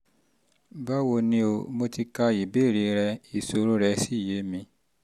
báwo ni o? mo ti ka ìbéèrè rẹ ìṣòro rẹ́ sì yé mi